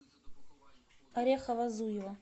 орехово зуево